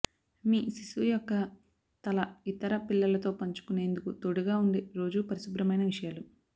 మీ శిశువు యొక్క తల ఇతర పిల్లలతో పంచుకునేందుకు తోడుగా ఉండే రోజూ పరిశుభ్రమైన విషయాలు